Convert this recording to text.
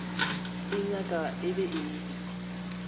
se nyaka e be e